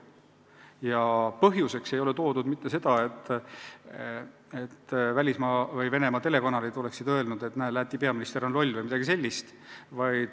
Ja põhjuseks ei ole toodud mitte seda, et Venemaa telekanalid oleksid öelnud, et Läti peaminister on loll või midagi sellist.